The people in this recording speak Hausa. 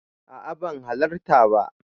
A'a ban halarta ba.